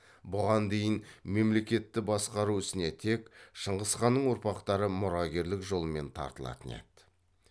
бұған дейін мемлекетті басқару ісіне тек шыңғыс ханның ұрпақтары мұрагерлік жолмен тартылатын еді